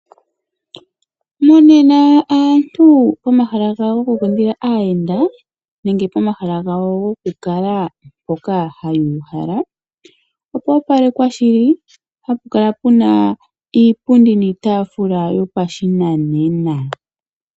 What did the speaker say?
Monena aantu pomahala gawo gokukundila aayenda nenge pomahala gawo gokukala mpoka haya uhala, opwa opalekwa shili hapu kala puna iipundi niitaafula yopashinanena.